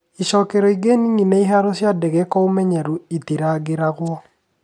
Icookero ingĩ nini na iharo cia ndege kwa ũmenyeru itirangĩragwo.